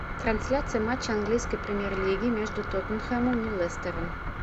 трансляция матча английской премьер лиги между тоттенхэмом и лестером